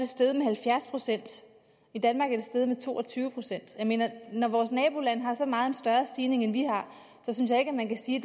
steget med halvfjerds procent i danmark er det steget med to og tyve procent jeg mener når vores naboland har en så meget større stigning end vi har synes jeg ikke man kan sige